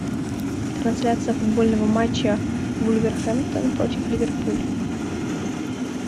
трансляция футбольного матча вулверхэмптон против ливерпуль